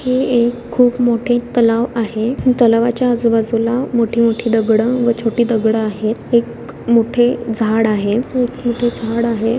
हे एक खूप मोठे तलाव आहे तलावाच्या आजूबाजूला मोठे मोठे दगड व छोटी दगड आहेत. एक मोठे झाड आहे खूप मोठ झाड आहे.